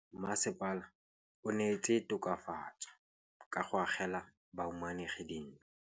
Mmasepala o neetse tokafatsô ka go agela bahumanegi dintlo.